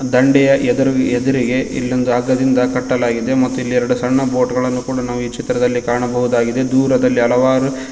ದಂಡೆಯ ಎದುರ್ ಎದುರಿಗೆ ಇಲ್ಲೊಂದು ಅಗ್ಗದಿಂದ ಕಟ್ಟಲಾಗಿದೆ ಮತ್ತು ಇಲ್ಲಿ ಎರಡು ಸಣ್ಣ ಬೋಟ್ ಗಳನು ಕೂಡ ನಾವು ಈ ಚಿತ್ರದಲ್ಲಿ ಕಾಣಬವುದಾಗಿದೆ ದೂರದಲ್ಲಿ ಹಲವಾರು--